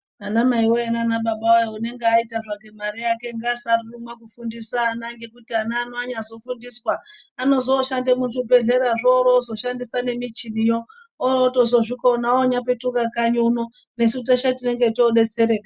Ana maiwe nana baba wee unenge aita zvake mari yake ngasanyarwe kufundise ana ngekuti ana ano anyazofundiswa anozoshande muzvibhedhlerazvo Orozoshandisa nemichiniyo orotozozvikona otopetuka kanyi uno nesu teshe tenge todetsereka.